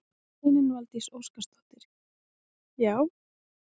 Steinunn Valdís Óskarsdóttir: Já?